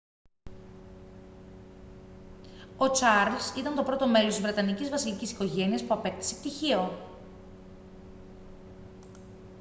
ο τσαρλς ήταν το πρώτο μέλος της βρετανικής βασιλικής οικογένειας που απέκτησε πτυχίο